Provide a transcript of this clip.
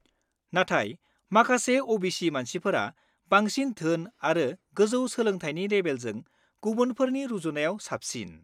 नाथाय माखासे अ.बि.सि. मानसिफोरा बांसिन धोन आरो गोजौ सोलोंथाइनि लेबेलजों गुबुनफोरनि रुजुनायाव साबसिन।